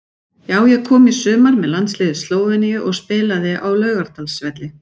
Já ég kom í sumar með landsliði Slóveníu og spilaði á Laugardalsvelli.